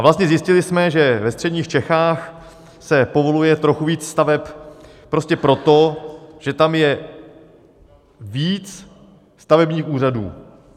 A vlastně zjistili jsme, že ve středních Čechách se povoluje trochu víc staveb prostě proto, že tam je víc stavebních úřadů.